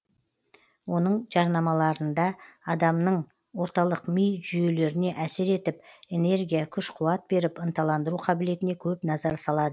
оның жарнамаларынада адамның орталық ми жүйелеріне әсер етіп энергия күш қуат беріп ынталандыру қабілетіне көп назар салады